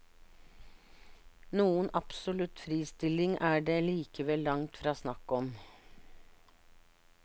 Noen absolutt fristilling er det likevel langt fra snakk om.